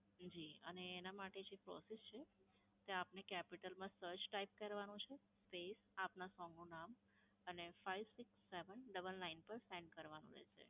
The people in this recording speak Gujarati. જી, અને એના માટે જે process છે. કે આપને capital માં search type કરવાનું છે, space, આપના song નું નામ અને five six seven double nine five six seven double nine પર send કરવાનો રહેશે.